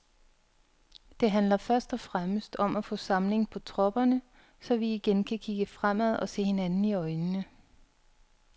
Det handler først og fremmest om at få samling på tropperne, så vi igen kan kigge fremad og se hinanden i øjnene.